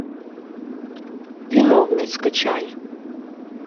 виновный скачай